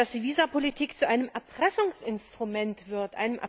Ich meine, dass die Visumpolitik zu einem Erpressungsinstrument wird.